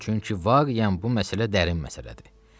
Çünki var yən, bu məsələ dərin məsələdir.